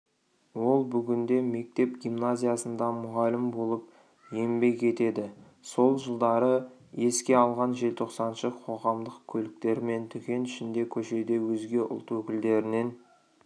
ол бүгінде мектеп-гимназиясында мұғалім болып еңбек етеді сол жылдарды еске алған желтоқсаншы қоғамдық көліктер мен дүкен ішінде көшеде өзге ұлт өкілдерінен